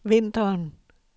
vinteren